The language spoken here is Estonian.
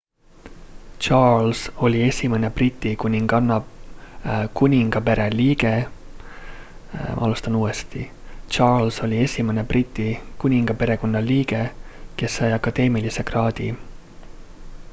charles oli esimene briti kuningaperekonna liige kas sai akadeemilise kraadi